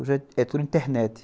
Hoje é tudo internet.